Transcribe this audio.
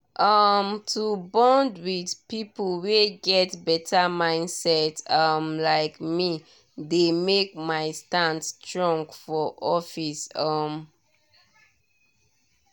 um to bond with people wey get better mindset um like me dey make my stand strong for office. um